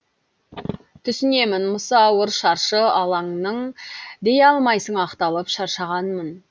түсінемін мысы ауыр шаршы алаңның дей алмайсың ақталып шаршағанмын